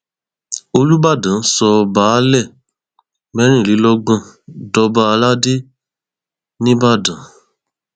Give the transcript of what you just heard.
olùbàdàn sọ baálé mẹrìnlélọgbọn dọba aládé nìbàdàn